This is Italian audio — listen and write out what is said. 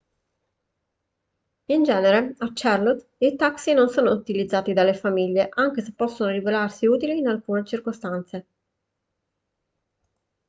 in genere a charlotte i taxi non sono utilizzati dalle famiglie anche se possono rivelarsi utili in alcune circostanze